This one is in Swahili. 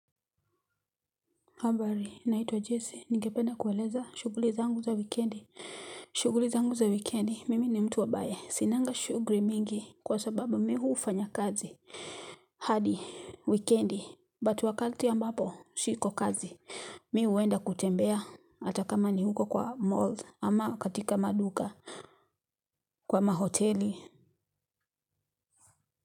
Ambari, naitwa Jesse, ningependa kueleza, shuguli zangu za wikendi. Shuguli zangu za wikendi, mimi ni mtu ambae, sinanga shuguli mingi kwa sababu mi hufanya kazi. Hadi, wikendi, but wakati ambapo, siko kazi. Mi huenda kutembea, hata kama ni huko kwa mall, ama katika maduka, kwa mahoteli.